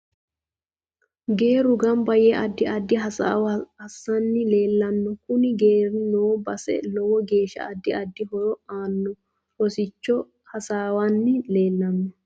Geeru ganbba yee addi addi hasaawo assanni leelano kunu geeri noo base lowo geesha addi addi horo aano rosicho hasawanni leelanno